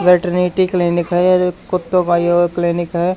Veterinary clinic है या कुत्तों का यो क्लीनिक है।